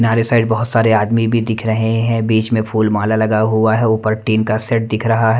किनारे साइड बहुत सारे आदमी भी दिख रहे हैं बीच में फूल माला लगा हुआ है ऊपर टीन का सेट दिख रहा है।